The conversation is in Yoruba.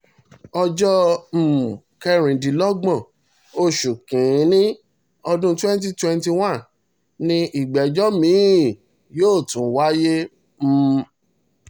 ọjọ́ um kẹrìndínlọ́gbọ̀n oṣù kìn-ín-ní ọdún 2021 ni ìgbẹ́jọ́ mi-ín yóò tún wáyé um